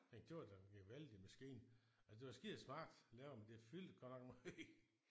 Ej det var da en gevaldig maskine altså det var skidesmart lavet men det fyldte godt nok meget